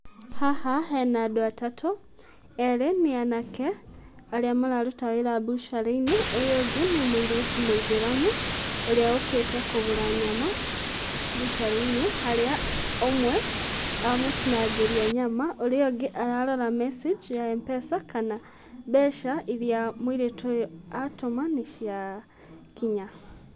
Haha hena andũ atatũ, erĩ nĩ anake arĩa mararuta wĩra mbucarĩ-inĩ. Ũyũ ũngĩ nĩ mũirĩtu mũithĩramu ũrĩa ũkĩte kũgũra nyama mbucarĩ-inĩ. Harĩa ũmwe amũtinangĩria nyama, ũrĩa ũngĩ ararora message ya M-pesa kana mbeca iria mũirĩtu ũyũ atũma nĩciakinya.